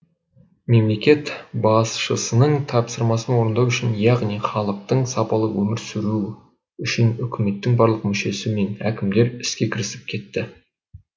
мемлекет басшысының тапсырмасын орындау үшін яғни халықтың сапалы өмір сүруі үшін үкіметтің барлық мүшесі мен әкімдер іске кірісіп кетті